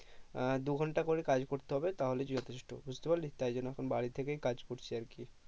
আহ দু ঘন্টা করে কাজ করতে হবে তাহলে যথেষ্ট বুঝতে পারলি তাই জন্য এখন বাড়ি থেকেই কাজ করছি আর কি